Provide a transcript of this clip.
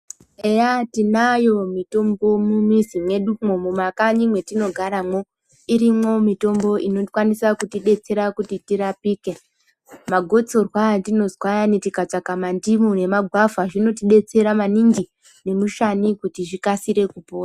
Eya tinayo mitombo mumuzi mwedumwo mumakanyi mwetino garamo irimwo mitombo inokwanisa kutidetsera kuti tirapike magotsorwa atinonzwa ayani tikatsvaka mandimu nemagwvha zvinotidetsera maningi nemushani kuti zvikasire kupora.